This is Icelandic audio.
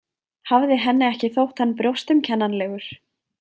Hafði henni ekki þótt hann brjóstumkennanlegur?